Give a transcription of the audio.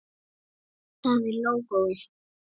Það er lógóið.